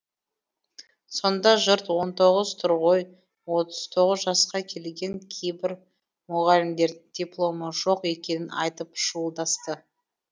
сонда жұрт он тоғыз тұр ғой отыз тоғыз жасқа келген кейбір мұғалімдердің дипломы жоқ екенін айтып шуылдасты